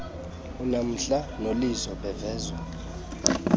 unamhla nolizo bavezwa